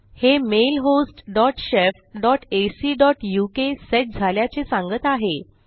हे mail host dot shef dot AC dot UK set झाल्याचे सांगत आहे